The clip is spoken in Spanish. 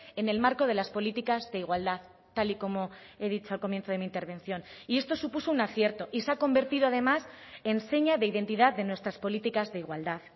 en el marco de las políticas de igualdad tal y como he dicho al comienzo de mi intervención y esto supuso un acierto y se ha convertido además en seña de identidad de nuestras políticas de igualdad